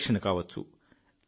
పరిరక్షణ కావచ్చు